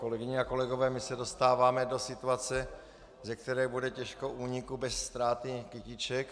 Kolegyně a kolegové, my se dostáváme do situace, ze které bude těžko úniku bez ztráty kytiček.